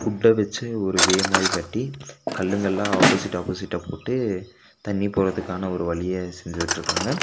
வுட்ட வெச்சு ஒரு வே மாரி கட்டி கல்லுங்கலா ஆப்போசிட் ஆப்போசிட்டா போட்டு தண்ணி போறதுக்கான ஒரு வழிய செஞ்சு விட்டுருக்காங்க.